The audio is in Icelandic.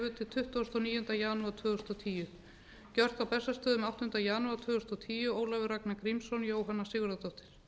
tuttugasta og níunda janúar tvö þúsund og tíu gjört á bessastöðum áttunda janúar tvö þúsund og tíu ólafur ragnar grímsson jóhanna sigurðardóttir